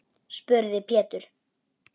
spurði Pétur.